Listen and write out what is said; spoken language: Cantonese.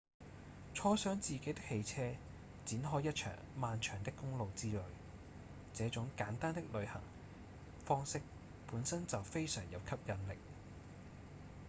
坐上自己的汽車展開一場漫長的公路之旅這種簡單的旅行方式本身就非常有吸引力